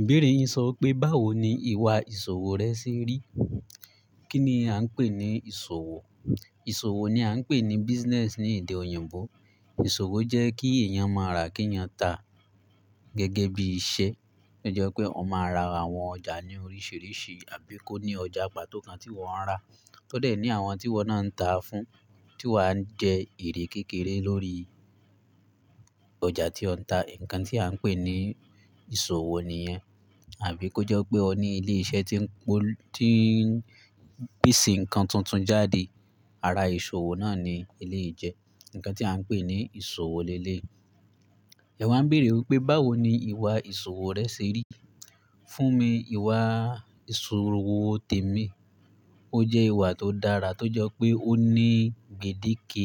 Ìbéèrè yin sọ pé báwo ni ìwà ìṣòwò rẹ ṣe rí? Kí ni a ń pè ní ìṣòwò? Ìṣòwò ni a ń pè ní business ní èdè òyìnbó. Ìṣòwò jẹ́ kí èèyàn máa ra, kí èèyàn ta. Gẹ́gẹ́ bí iṣẹ́, tó jẹ́ pé ọ máa ra àwọn ọjà ní oríṣiríṣi, àbí kó ní ọjà pàtó kan tí wọ́n ń ra, tó dẹ̀ ní àwọn tí wọ́n náà ń ta fún, tí wá ń jẹ èrè kékeré lórí ọjà tí wọ́ ń ta. Ǹkan tí a ń pè ní ìṣòwò ni yẹn. Àbí kó jẹ́ pé o ní ilé iṣẹ́ tí ń po-- tí ń pisi nǹkan tuntun jáde, ara ìṣòwò náà ni elé yìí jẹ́. Ǹkan tí a ń pè ní ìṣòwò lé léyi Ẹ waa ń béèrè wipé báwo ni ìwà ìṣòwò rẹ ṣe rí? Fún mi, ìwà ìṣòwò tèmi, ó jẹ́ ìwà tó dára tó jẹ́ pé ó ní gbedeke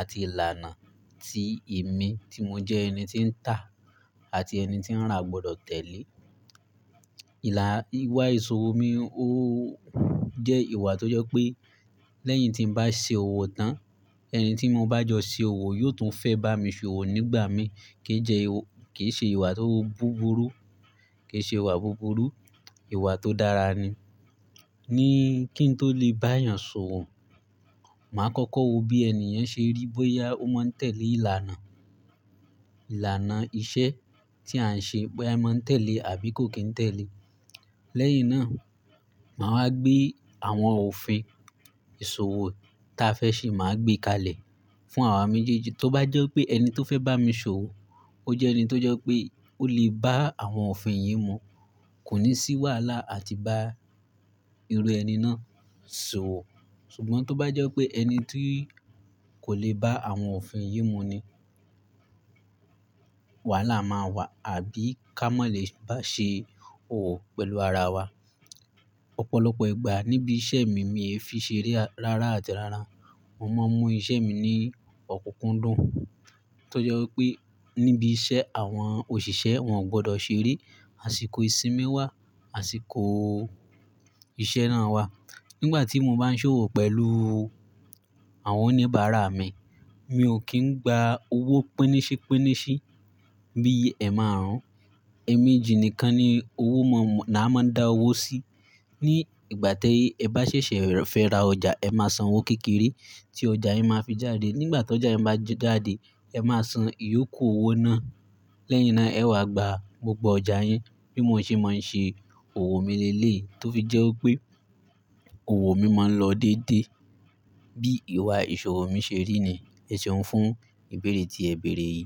àti ìlànà tí èmi tí mo jẹ́ ẹni tí ń tà àti ẹni tí ń rà gbọ́dọ̀ tẹ̀lé. Ìlà ìwà ìṣòwò mi, ó jẹ́ ìwà tó jẹ́ pé lẹ́yìn tí n bá ṣe òwò tán, ẹni tí mo bá jọ ṣe òwò yóò tún fẹ́ bá mi ṣe òwò nígbà mí. Kì í jẹ ìw-- kì í ṣe ìwà tó búburú, kì í ṣe ìwà búburú, ìwà tó dára ni. Ni kí n tó lè bá èèyàn ṣòwò, màá kọ́kọ́ wo bí ènìyàn ṣe rí bóyá ó máa ń tẹ̀lé ìlànà, ìlànà ìṣe tí à ń ṣe bóyá i máa ń tẹ̀lé àbí kò kín ń tẹ̀lé. Lẹ́yìn náà, màá wa gbé àwọn òfin ìṣòwò táa fẹ́ ṣe, màá gbé kalẹ̀ fún àwọn mi jíjẹ. Tó bá jẹ́ pé ẹni tó fẹ́ bá mi ṣe òwò, ó jẹ́ ẹni tó jẹ́ pé ó lè bá àwọn òfin yìí mu, kò ní ṣì wàhálà àti bá irú ẹni náà ṣòwò. Ṣùgbọ́n tó bá jẹ́ pé ẹni tí kò lè bá àwọn òfin yìí mu ni, wàhálà máa wà àbí ká mọ̀ lé bá ṣe òwò pẹ̀lú ara wa. Ọ̀pọ̀lọpọ̀ ìgbà níbi iṣẹ́ mi, mi e fiì ṣe eré rara àti rara. Mo máa ń mú iṣẹ́ mi ní ọ̀kúkúndùn tó jẹ́ wípé níbi iṣẹ́ àwọn òṣìṣẹ́ wọn gbọ́dọ̀ ṣe eré, àsìkò ìsinmi wà, àsìkò ìṣe náà wà. Nígbà tí mo bá ń ṣe òwò pẹ̀lú àwọn oníbàárà mi, mi ò kí ń gba owó pínníṣípínníṣí bí ẹ máa rán. Ẹ̀ẹ̀mejì nìkan ni owó mo mọ̀-- ni a máa ń dá owó sí. Ní ìgbà tí ẹ bá ṣẹ̀ṣẹ̀ fẹ́ ra ọjà, ẹ máa san owó kékeré tí ọjà yín máa fi jáde. Nígbà tó jọ́ ẹ máa jáde, ẹ máa san ìyókù owó náà. Lẹ́yìn náà ẹ wa gba gbogbo ọjà yín. Bí mo ṣe máa ń ṣe òwò mi lé lé tó fi jẹ́ wípé òwò mi máa ń lọ dédé. Bí ìwà ìṣòwò mi ṣe rí ni èṣeun fún ìbéèrè tí ẹ bèèrè yìí.